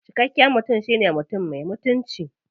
Cikakken mutum shine mutum me mutunci.